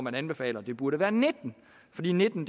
anbefaler at det burde være nitten fordi nitten